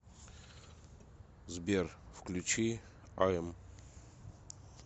сбер включи ай эм